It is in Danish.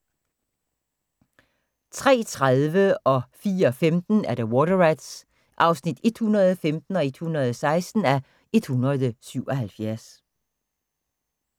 03:30: Water Rats (115:177) 04:15: Water Rats (116:177)